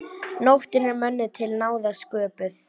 Nóttin er mönnum til náða sköpuð.